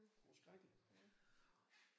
Hun var skrækkelig